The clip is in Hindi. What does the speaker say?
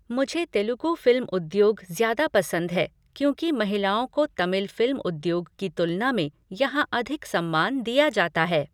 मुझे तेलुगू फ़िल्म उद्योग ज़्यादा पसंद है क्योंकि महिलाओं को तमिल फ़िल्म उद्योग की तुलना में यहाँ अधिक सम्मान दिया जाता है।